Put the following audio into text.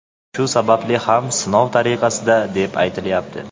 Shu sababli ham sinov tariqasida, deb aytilayapti.